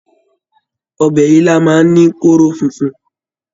Ọbẹ̀ ilá máa ń ní kóró funfun